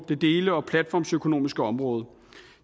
det dele og platformsøkonomiske område